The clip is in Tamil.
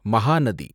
மகாநதி